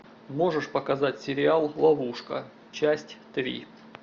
можешь показать сериал ловушка часть три